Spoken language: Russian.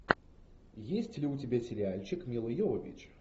есть ли у тебя сериальчик милла йовович